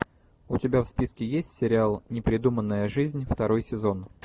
у тебя в списке есть сериал непридуманная жизнь второй сезон